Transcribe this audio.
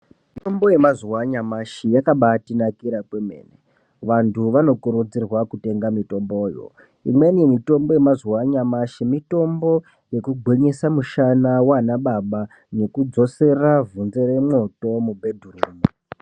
Mitombo yemazuwa anyamashi yakabatinakira kwemene, vantu vanokurudzirwa kutenga mitomboyo. Imweni mitombo yemazuva anyamashi mitombo yekugwinyisa musana waanababa nekudzosere vhunze remwoto mubhedhurumu.